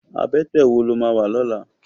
Abètè wó ló má wá lòlá?